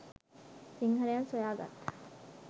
සිංහලයන් සොයා ගත්